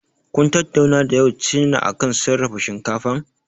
Kun tattauna da ƴau China ne akan sarrafa shinkafan?